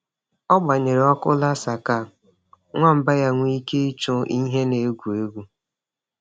Ọ gbanyere ọkụ laser ka nwamba ya nwee ike ịchụ ihe na-egwu egwu.